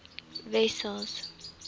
wessels